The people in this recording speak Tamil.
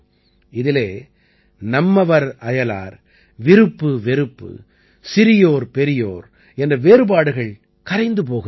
இதிலே நம்மவர் அயலார் விருப்பு வெறுப்பு சிறியோர் பெரியோர் என்ற வேறுபாடுகள் கரைந்து போகின்றன